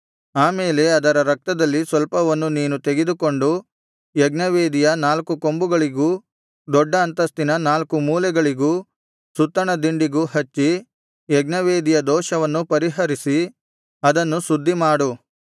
ಆಮೇಲೆ ಅದರ ರಕ್ತದಲ್ಲಿ ಸ್ವಲ್ಪವನ್ನು ನೀನು ತೆಗೆದುಕೊಂಡು ಯಜ್ಞವೇದಿಯ ನಾಲ್ಕು ಕೊಂಬುಗಳಿಗೂ ದೊಡ್ಡ ಅಂತಸ್ತಿನ ನಾಲ್ಕು ಮೂಲೆಗಳಿಗೂ ಸುತ್ತಣ ದಿಂಡಿಗೂ ಹಚ್ಚಿ ಯಜ್ಞವೇದಿಯ ದೋಷವನ್ನು ಪರಿಹರಿಸಿ ಅದನ್ನು ಶುದ್ಧಿಮಾಡು